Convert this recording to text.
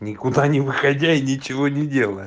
никуда не выходя и ничего не делая